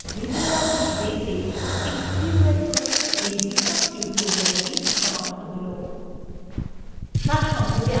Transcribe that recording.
এখানেই libreoffice baseএ SQL প্রশ্নের এই বিশদ tutorial সমাপ্ত হলো